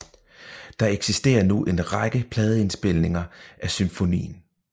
Der eksisterer nu en række pladeindspilninger af symfonien